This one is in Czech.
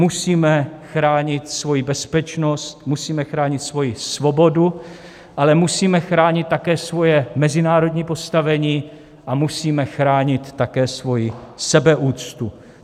Musíme chránit svoji bezpečnost, musíme chránit svoji svobodu, ale musíme chránit také svoje mezinárodní postavení a musíme chránit také svoji sebeúctu.